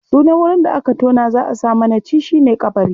Sunan wurin da aka tona za a sa manaci shi ne ƙabari.